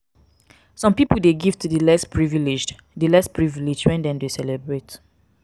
some pipo de give to di less privileged di less privileged when dem de celebrate